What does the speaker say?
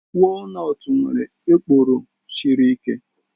Walnutst nwere ekpuru siri ike.